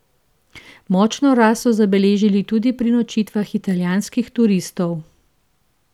Močno rast so zabeležili tudi pri nočitvah italijanskih turistov.